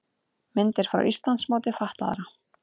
Myndir frá Íslandsmóti fatlaðra